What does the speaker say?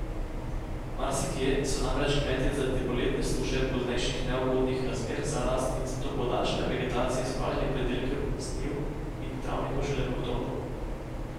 Marsikje so namreč kmetje zaradi poletne suše, poznejših neugodnih razmer za rast in zato podaljšane vegetacije spravljali pridelke z njiv in travnikov šele v oktobru.